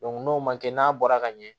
n'o ma kɛ n'a bɔra ka ɲɛ